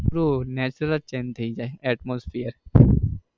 પેલું nature જ change થઇ જાય atmostphere